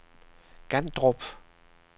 Gandrup